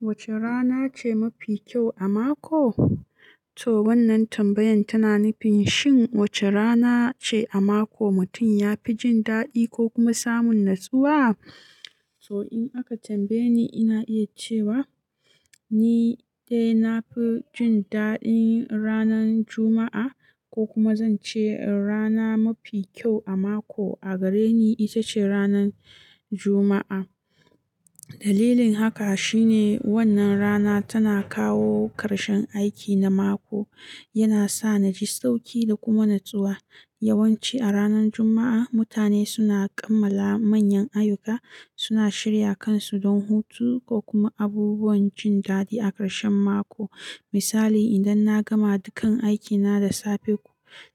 Wace rana ce mafi kyau a mako? To wannan tambayan tana nufin shin wace rana ce a mako mutum ya fi jin daɗi ko kuma samun natsuwa? To in aka tambaye ni, ina iya cewa ni dai na fi jin daɗin ranar Juma'a ko kuma zance rana mafi kyau a mako a gare ni ita ce ranar Juma'a. Dalilin haka shine wannan rana tana kawo ƙarshen aiki na mako, yana sa na ji sauƙi da kuma natsuwa. Yawanci a ranar Juma'a, mutane suna kammala manyan ayyuka, suna shirya kansu don hutu ko kuma abubuwan jin daɗi a ƙarshen mako. Misali, idan na gama dukkan aikina da safe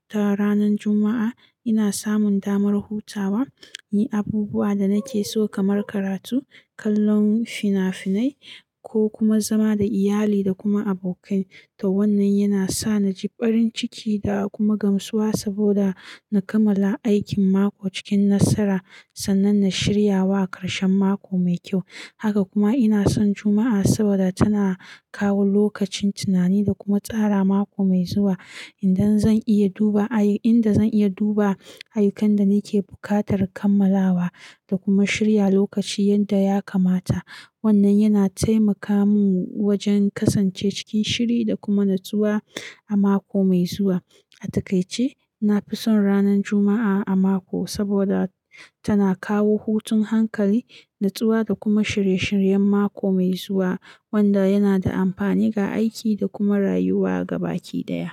ta ranar Juma'a, ina samun damar hutawa, yin abubuwa da nake so kamar karatu, kallon fina-finai ko kuma zama da iyali da kuma abokai. To wannan yana sa na ji farin ciki da kuma gamsuwa saboda na kammala aikin mako cikin nasara sannan na shirya wa ƙarshen mako mai kyau. Haka kuma ina son Juma'a saboda tana kawo lokacin tunani da kuma tsara mako mai zuwa. Inda zan iya duba ayu-- inda zan iya duba ayyukan da nake buƙatar kammalawa da kuma shirya lokaci yadda ya kamata. Wannan yana taimaka mun wajen kasance cikin shiri da kuma natsuwa a mako mai zuwa. A takaice, na fi son ranar Juma'a a mako saboda tana kawo hutun hankali, natsuwa da kuma shirye-shiryen mako mai zuwa wanda yana da amfani ga aiki da kuma rayuwa gabaki ɗaya.